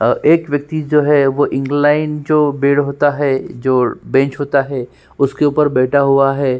अ एक व्यक्ति जो है वो इंगलाइन्ड जो बीड़ होता है जो बैंच होता है उसके ऊपर बैठा हुआ है।